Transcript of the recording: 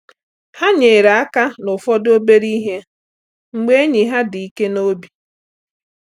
Ha nyere aka n’ụfọdụ obere ihe mgbe enyi ha dị ike n’obi.